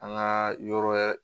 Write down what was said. An ka yɔrɔ